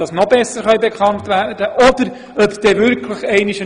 In einigen Jahren werden wir das wieder anschauen.